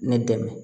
Ne dɛmɛ